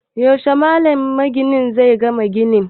Yaushe Malam Idi magini zai gama ginin?